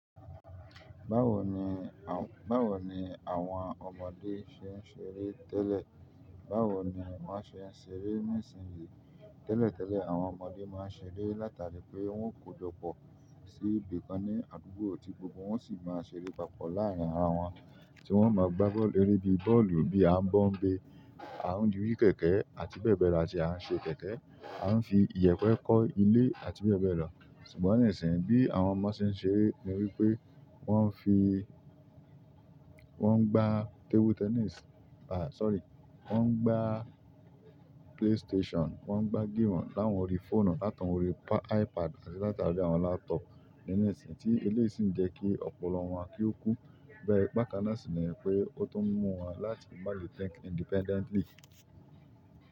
Báwo ni àwọn ọmọdé ṣe ń ṣeré tẹ́lẹ̀? Báwo ni wọ́n ṣe ń ṣeré ní ìsinsìnyí? Tẹ́lẹ̀tẹ́lẹ̀, àwọn ọmọdé máa ń ṣeré látàrí pé wọn kò jọ̀pọ̀ sí ibìkan ní àdúgbò ti gbogbo wọn sì máa ń ṣeré papọ̀ láàárín ara wọn, tí wọ́n máa ń gbá bọ́ọ̀lù, ere bi bọ́ọ̀lù bí a ń bọ́ ń bé, a n yìí kẹ̀kẹ́, àti bẹ́ẹ̀ bẹ́ẹ̀ lọ, àti a n ṣe kẹ̀kẹ́, a n fi iyepe ko ilé, àti bẹ́ẹ̀ bẹ́ẹ̀ lọ. Ṣùgbọ́n níìsín, bí àwọn ọmọ ṣe ń ṣeré ni wípé wọ́n ń fi, won n gbà table tennis, won n gbà play station, won n gbà géèmù lawon orí fóònù, láti orí àwọn ipad àti láti orí àwọn laptop nísìí, ti eleyii si n je ki opolo won ki o ku. Bàkànà sì ni pé ó tó ń mú wọn láti má lè think independently.